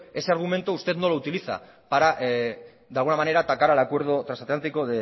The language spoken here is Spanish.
ese argumento usted no lo utiliza para de alguna manera atacar al acuerdo trasatlántico